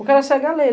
O cara segue a lei.